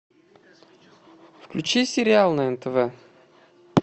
включи сериал на нтв